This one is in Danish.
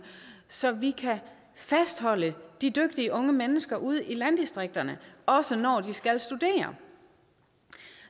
så vi kan fastholde de dygtige unge mennesker ude i landdistrikterne også når de skal studere